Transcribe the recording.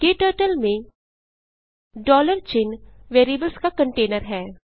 क्टर्टल में चिन्ह वेरिएबल्स का कंटैनर है